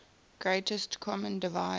greatest common divisor